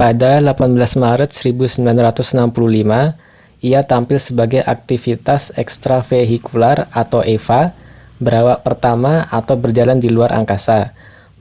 "pada 18 maret 1965 ia tampil sebagai aktivitas extravehicular eva berawak pertama atau berjalan di luar angkasa